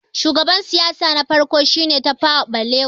shugaban siyasa na farko shi ne Tafawa balewa